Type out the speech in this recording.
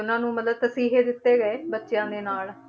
ਉਹਨਾਂ ਨੂੰ ਮਤਲਬ ਤਸੀਹੇ ਦਿੱਤੇ ਗਏ ਬੱਚਿਆਂ ਦੇ ਨਾਲ,